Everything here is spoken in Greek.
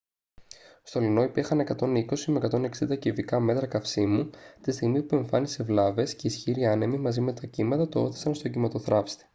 στο luno υπήρχαν 120-160 κυβικά μέτρα καυσίμου τη στιγμή που εμφάνισε βλάβες και οι ισχυροί άνεμοι μαζί με τα κύματα το ώθησαν στον κυμματοθράυστη